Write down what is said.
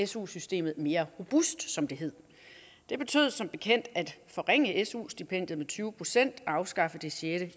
su systemet mere robust som det hed det betød som bekendt at forringe su stipendier med tyve procent og afskaffe det sjette